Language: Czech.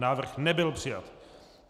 Návrh nebyl přijat.